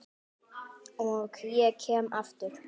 Og ég kem aftur.